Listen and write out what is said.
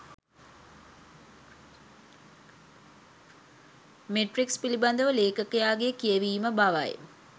Matrix පිලිබඳ ලේඛකයාගේ කියවීම බවයි.